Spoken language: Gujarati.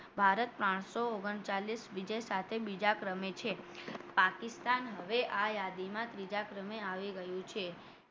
ભારત પાનસો ઓગન ચાલીશ વિજય સાથે બીજા ક્રમે છે પાકિસ્તાન હવે આ યાદીમાં ત્રીજા ક્રમે આવી ગયું છે